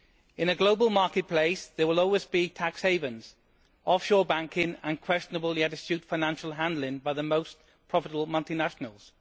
In a global marketplace there will always be tax havens, offshore banking and questionable yet astute financial handling by the most profitable multilaterals.